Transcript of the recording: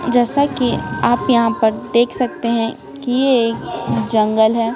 जैसा कि आप यहां पर देख सकते हैं कि यह एक जंगल है।